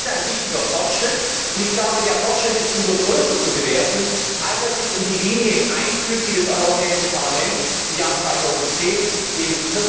Das ist ein wichtiger Fortschritt, und ich glaube, der Fortschritt ist umso höher zu bewerten, als er sich in die Linie einfügt, die das Europäische Parlament im Jahr 2010 im